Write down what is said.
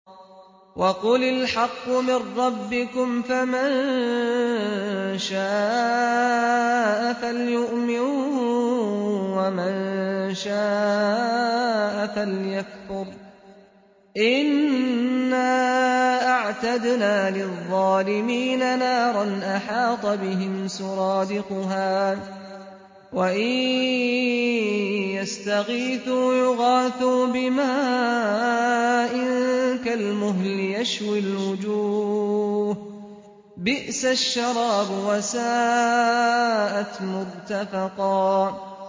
وَقُلِ الْحَقُّ مِن رَّبِّكُمْ ۖ فَمَن شَاءَ فَلْيُؤْمِن وَمَن شَاءَ فَلْيَكْفُرْ ۚ إِنَّا أَعْتَدْنَا لِلظَّالِمِينَ نَارًا أَحَاطَ بِهِمْ سُرَادِقُهَا ۚ وَإِن يَسْتَغِيثُوا يُغَاثُوا بِمَاءٍ كَالْمُهْلِ يَشْوِي الْوُجُوهَ ۚ بِئْسَ الشَّرَابُ وَسَاءَتْ مُرْتَفَقًا